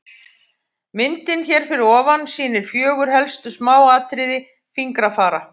Myndin hér fyrir ofan sýnir fjögur helstu smáatriði fingrafara.